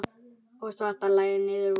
og svartur lagði niður vopnin.